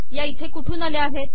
या इथे कुठून आल्या आहेत